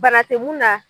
Bana tɛ mun na